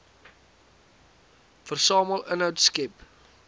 versamel inhoud skep